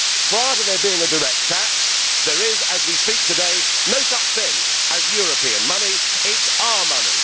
Prior to there being a direct tax, there is, as we speak today, no such thing as European money it is money.